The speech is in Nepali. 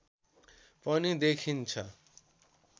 पनि देखिन्छ